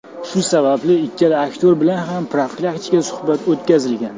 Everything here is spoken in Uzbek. Shu sababli ikkala aktyor bilan ham profilaktik suhbat o‘tkazilgan.